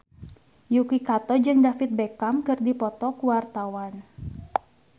Yuki Kato jeung David Beckham keur dipoto ku wartawan